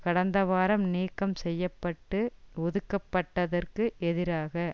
கடந்த வாரம் நீக்கம் செய்ய பட்டு ஒதுக்கப்பட்டதற்கு எதிராக